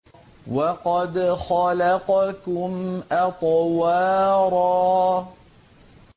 وَقَدْ خَلَقَكُمْ أَطْوَارًا